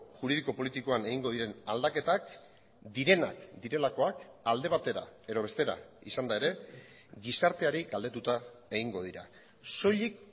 juridiko politikoan egingo diren aldaketak direnak direlakoak alde batera edo bestera izanda ere gizarteari galdetuta egingo dira soilik